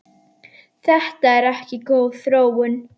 Þetta er ekki góð þróun.